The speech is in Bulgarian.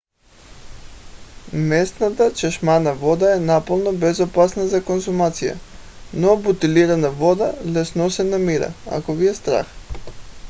местната чешмяна вода е напълно безопасна за консумация но бутилирана вода лесно се намира ако ви е страх